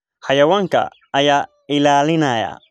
Xayawaanka ayaa ilaalinaya.